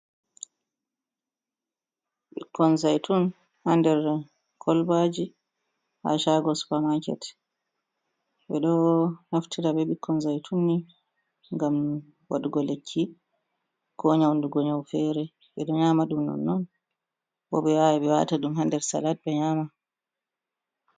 Ɓikkon zaitun ha nder kolobaji ha shago supamaket, ɓeɗo naftira be Ɓikkon zaitun ni ngam waɗugo lekki ko nyauɗugo nyau fere ɓeɗo nyama ɗum nonnon bo ɓe wawa ɓe wata ɗum ha nder salat ɓe nyama.